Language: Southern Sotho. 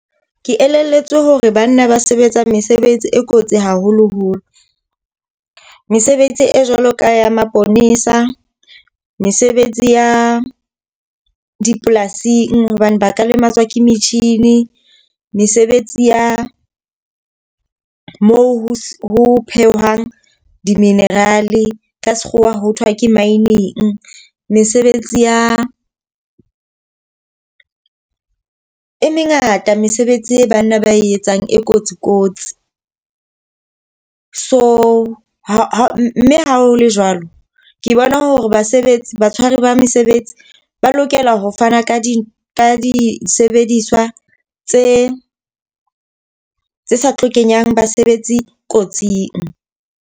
Ke elelletswe hore banna ba sebetsang mesebetsi e kotsi haholoholo. Mesebetsi e jwalo ka ya maponesa, mesebetsi ya dipolasing hobane ba ka lematswa ke metjhini. Mesebetsi ya mo ho phehwang di-mineral e ka sekgowa ho thwa ke mining. Mesebetsi ya e mengata mesebetsi e banna ba e etsang e kotsi kotsi. So ha mme ha ho le jwalo, ke bona hore basebetsi batshwari ba mesebetsi ba lokela ho fana ka di disebediswa tse tse sa tlo nkenyang basebetsi kotsing.